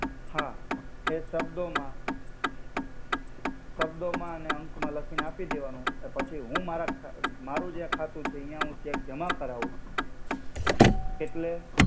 હા એ શબ્દો મા શબ્દો મા અને આંક મા લખિને આપી દેવાનુ ને પાછી હુ મારા ખ મારુ જ્યા ખાતુ છે યા હુ ચેક જમા કરાવુ એટલે